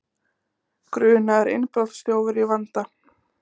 Grunaður innbrotsþjófur í vanda